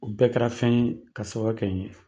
U bɛɛ kɛra fɛn ye ka sababu kɛ ni ye.